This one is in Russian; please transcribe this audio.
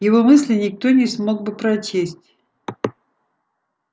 его мысли никто не смог бы прочесть